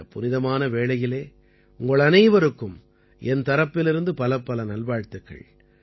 இந்தப் புனிதமான வேளையிலே உங்கள் அனைவருக்கும் என் தரப்பிலிருந்து பலப்பல நல்வாழ்த்துக்கள்